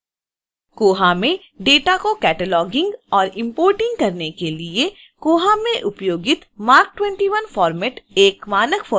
koha में data को cataloguing और इंपोर्टिग करने के लिए koha में उपयोगित marc 21 फोर्मेट एक मानक फोर्मेट है